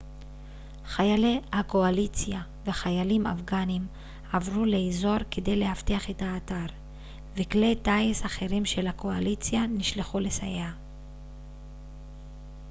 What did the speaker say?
חיילי הקואליציה וחיילים אפגנים עברו לאזור כדי לאבטח את האתר וכלי טיס אחרים של הקואליציה נשלחו לסייע